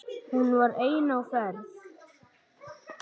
Hún var ein á ferð.